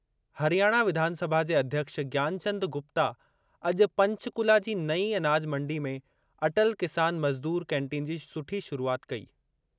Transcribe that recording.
हरियाणा विधानसभा जे अध्यक्ष ज्ञानचंद गुप्ता अॼु पंचकुला जी नईं अनाज मंडी में अटल किसान मजदूर कैंटीन जी सुठी शुरूआति कई।